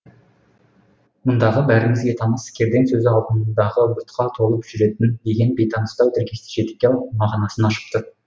мұндағы бәрімізге таныс кердең сөзі алдындағы бұтқа толып жүретін деген бейтаныстау тіркесті жетекке алып мағынасын ашып тұр